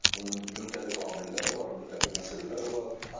Bunun müxtəlif amilləri var, müxtəlif məsələləri var.